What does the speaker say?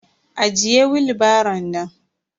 Ajiye willbaro nan.